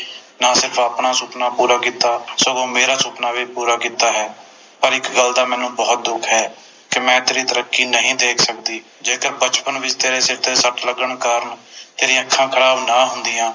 ਨਾਲੇ ਤੂੰ ਆਪਣਾ ਸੁਪਨਾ ਪੂਰਾ ਕੀਤਾ ਸਗੋਂ ਮੇਰਾ ਸੁਪਨਾ ਵੀ ਪੂਰਾ ਕੀਤਾ ਹੈ ਪਰ ਇਕ ਗੱਲ ਦਾ ਮੈਨੂੰ ਬੋਹੋਤ ਦੁੱਖ ਹੈ ਕਿ ਮੈਂ ਤੇਰੀ ਤਰੱਕੀ ਨਹੀਂ ਦੇਖ ਸਕਦੀ ਜੇਕਰ ਬਚਪਨ ਵਿਚ ਤੇਰੇ ਸਿਰ ਤੇ ਸੱਟ ਲੱਗਣ ਕਾਰਣ ਤੇਰੀ ਅੱਖਾਂ ਖਰਾਬ ਨਾ ਹੁੰਦੀਆਂ